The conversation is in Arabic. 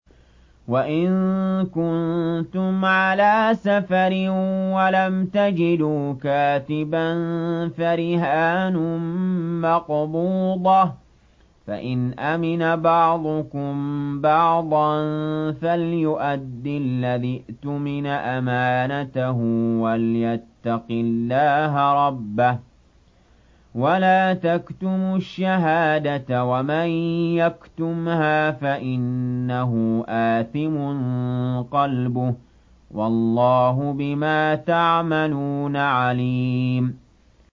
۞ وَإِن كُنتُمْ عَلَىٰ سَفَرٍ وَلَمْ تَجِدُوا كَاتِبًا فَرِهَانٌ مَّقْبُوضَةٌ ۖ فَإِنْ أَمِنَ بَعْضُكُم بَعْضًا فَلْيُؤَدِّ الَّذِي اؤْتُمِنَ أَمَانَتَهُ وَلْيَتَّقِ اللَّهَ رَبَّهُ ۗ وَلَا تَكْتُمُوا الشَّهَادَةَ ۚ وَمَن يَكْتُمْهَا فَإِنَّهُ آثِمٌ قَلْبُهُ ۗ وَاللَّهُ بِمَا تَعْمَلُونَ عَلِيمٌ